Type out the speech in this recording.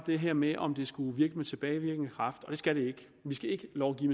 det her med om det skulle virke med tilbagevirkende kraft det skal det ikke vi skal ikke lovgive